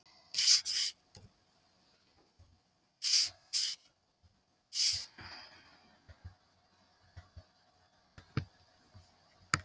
Bessastöðum og bæta hag hans.